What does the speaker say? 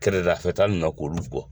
Kɛrɛdafɛ ta ninnu na k'olu gɔ.